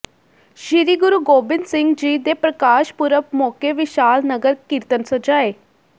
ਸ੍ਰੀ ਗੁਰੂ ਗੋਬਿੰਦ ਸਿੰਘ ਜੀ ਦੇ ਪ੍ਰਕਾਸ਼ ਪੁਰਬ ਮੌਕੇ ਵਿਸ਼ਾਲ ਨਗਰ ਕੀਰਤਨ ਸਜਾਏ